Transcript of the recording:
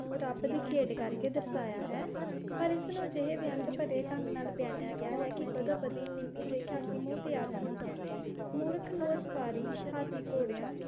ਨੂੰ ਰੱਬ ਦੀ ਖੇਡ ਕਰਕੇ ਦਰਸਾਇਆ ਹੈ ਪਰ ਇਸ ਨੂੰ ਅਜਿਹੇ ਵਿਅੰਗ ਭਰੇ ਢੰਗ ਨਾਲ ਬਿਆਨਿਆ ਗਿਆ ਹੈ ਕਿ ਬਦੋ-ਬਦੀ ਨਿਮ੍ਹੀ ਜਿਹੀ ਹਾਸੀ ਮੂੰਹ ਤੇ ਆਂ ਜਾਂਦੀ ਹੈ। ਮੂਰਖ ਨੂੰ ਅਸਵਾਰੀ ਹਾਥੀ ਘੋੜਿਆਂ।